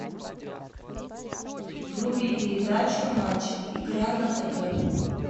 вруби передачу матч игра на тв